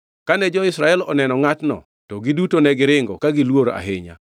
Kane jo-Israel oneno ngʼatno, to giduto ne giringe ka giluor ahinya.